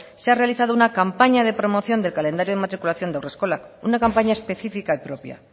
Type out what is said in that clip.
se ha realizado una campaña de promoción del calendario en matriculación de haurreskolak una campaña específica y propia